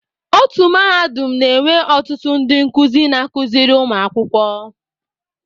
Otu Mahadum na-enwe ọtụtụ ndị nkuzi na-akụziri ụmụ akwụkwọ